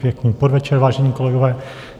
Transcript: Pěkný podvečer, vážení kolegové.